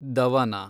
ದವನ